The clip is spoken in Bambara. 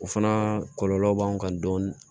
O fana kɔlɔlɔ b'an kan dɔɔni